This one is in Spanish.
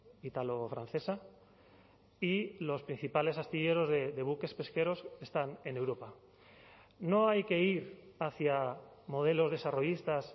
italo francesa y los principales astilleros de buques pesqueros están en europa no hay que ir hacia modelos desarrollistas